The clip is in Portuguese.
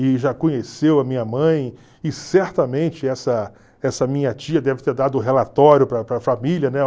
e já conheceu a minha mãe, e certamente essa essa minha tia deve ter dado relatório para para a família, né?